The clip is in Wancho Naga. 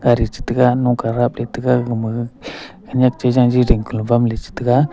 gari che taiga nok ka daple che taiga gama gaga khenek chi jaji dingko lo che taiga.